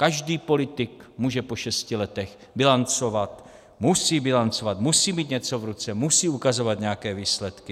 Každý politik může po šesti letech bilancovat, musí bilancovat, musí mít něco v ruce, musí ukazovat nějaké výsledky.